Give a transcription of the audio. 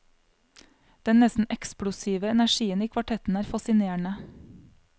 Den nesten eksplosive energien i kvartetten er fascinerende.